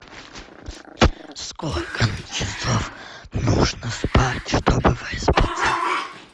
сколько часов нужно спать чтобы выспаться